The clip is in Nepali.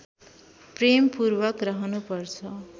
प्रेमपूर्वक रहनु पर्छ